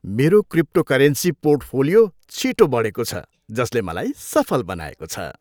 मेरो cryptocurrency portfolio छिटो बढेको छ जसले मलाई सफल बनाएको छ।